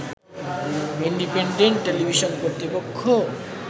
independent television কর্তৃপক্ষ